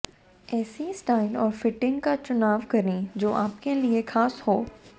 ऐसी स्टाइल और फिटिंग का चुनाव करें जो आपके लिए खास हो